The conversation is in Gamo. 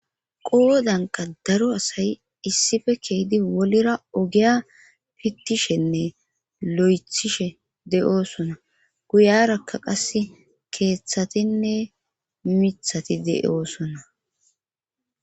Qowodanka daro asayi issife keydi wolira ogiya pittishenne lo'ethishe de'oosona guyarakka qas keeththatinne mithati de'oosona.